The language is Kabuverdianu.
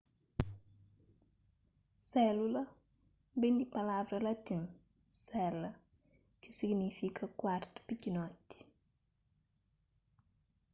sélula ben di palavra latin cella ki signifika kuartu pikinoti